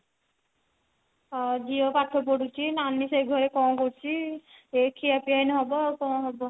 ହଁ ଝିଅ ପାଠ ପଢୁଛି ନାନୀ ସେ ଘରେ କଣ କରୁଛି ଏଇ ଖିଆ ପିଆ ଏଇନା ହେବ ଆଉ କଣ ହେବ